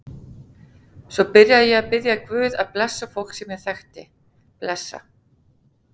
Svo byrjaði ég að biðja guð að blessa fólk sem ég þekkti, blessa